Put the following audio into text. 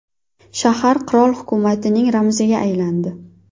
Shahar qirol hukumatining ramziga aylandi.